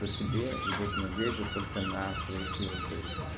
то тебе придётся надеяться только на свои силы то есть